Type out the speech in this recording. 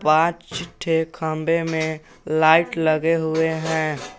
पांच ठो खंभे में लाइट लगे हुए हैं।